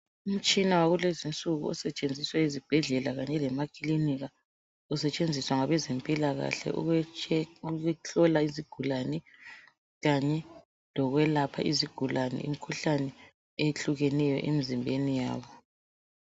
Umtshina wakulezi insuku osetshenziswa ezibhedlela kanye lemakilinika usetshenziswa ngabezempilakahle ukuhlola izigulane kanye lokwelapha izigulane imikhuhlane eyehlukeneyo emzimbeni yabo.